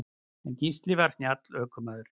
En Gísli var snjall ökumaður.